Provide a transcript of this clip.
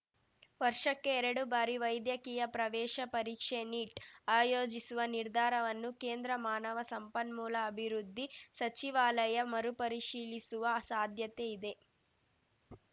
ವರ್ಷಕ್ಕೆ ಎರಡು ಬಾರಿ ವೈದ್ಯಕೀಯ ಪ್ರವೇಶ ಪರೀಕ್ಷೆ ನೀಟ್‌ ಆಯೋಜಿಸುವ ನಿರ್ಧಾರವನ್ನು ಕೇಂದ್ರ ಮಾನವ ಸಂಪನ್ಮೂಲ ಅಭಿವೃದ್ಧಿ ಸಚಿವಾಲಯ ಮರುಪರಿಶೀಲಿಸುವ ಸಾಧ್ಯತೆ ಇದೆ